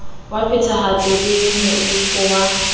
wa phethahatso le moifo wa